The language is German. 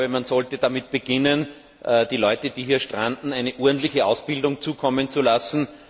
Man sollte damit beginnen, den Leuten, die hier stranden, eine ordentliche Ausbildung zukommen zu lassen.